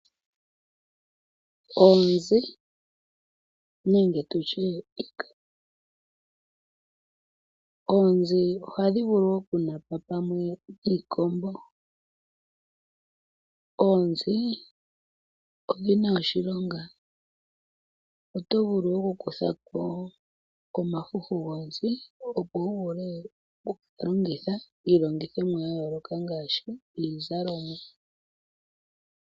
Oonzi ohadhi vulu woo okunapa pamwe niikombo. Oonzi odhina oshilonga, oto vulu okukutha ko omafufu gonzi opo wu vule okugalongitha iilongithomwa yayooloka ngaashi iizalomwa.